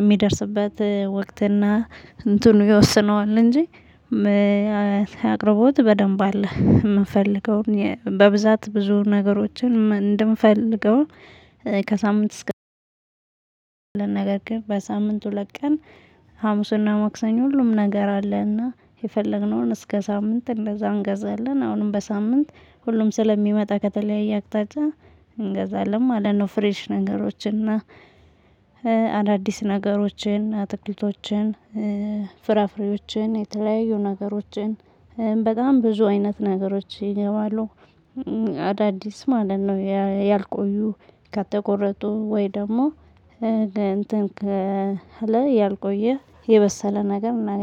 የሚደርስበት ወክት እና እንትኑ ይወስነዋል እንጂ። አቅርቦት በደንብ አለ የምንፈልገውን በብዛት ብዙ ነገሮችን እንድንፈልገው። ከሳምንት እስከ ነገር ግን በሳምንት ሁለት ቀን። ሀሙስና መክሰኞ ሁሉም ነገር አለና የፈለግነውን እስከ ሳምንት እንደዛ እንገዛለን። አሁንም በሳምንት ሁሉም ስለሚመጣ ከተለያየ አቅጣጫ እንገዛለን ማለት ነው። ፍሬሽ ነገሮችን እና። አዳዲስ ነገሮችን አትክልቶችን ፍራፍሬዎችን የተለያዩ ነገሮችን በጣም ብዙ አይነት ነገሮች ይገባሉ። አዳዲስ ማለት ነው ያልቆዩ ከተቆረጡ ወይ ደግሞ እንትን ያልቆየ የበሰለ ነገር እናገኛለን